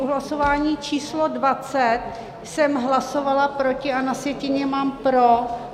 U hlasování číslo 20 jsem hlasovala proti, a na sjetině mám pro.